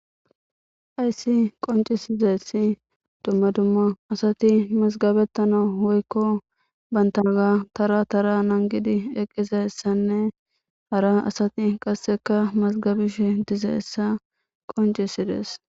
Hayssi qonccissizeyssi dumma dumma asati mazgabeththanawu woykko banththaaga thara thara naaagidi eqqizayssenne hara asati qassikka mazgabishin dizeessa qonccissides.